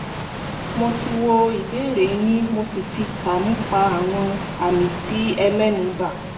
mo ti wo ìbéèrè yín mo sì ti kà nípa àwọn àmì tí ẹ mẹ́nubà